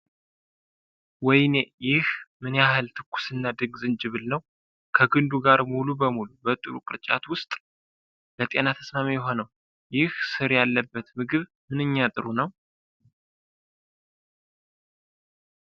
ወይኔ! ይህ ምን ያህል ትኩስና ድንቅ ዝንጅብል ነው! ከግንዱ ጋር ሙሉ በሙሉ፣ በጥሩ ቅርጫት ውስጥ! ለጤና ተስማሚ የሆነው ይህ ሥር ያለበት ምግብ ምንኛ ጥሩ ነው!